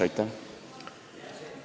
Aitäh!